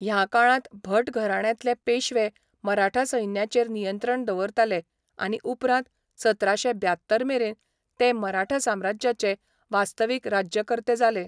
ह्या काळांत भट घराण्यांतले पेशवे मराठा सैन्याचेर नियंत्रण दवरताले आनी उपरांत सतराशे ब्यात्तर मेरेन ते मराठा साम्राज्याचे वास्तवीक राज्यकर्ते जाले.